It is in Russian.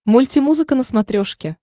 мультимузыка на смотрешке